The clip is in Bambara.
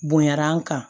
Bonya an kan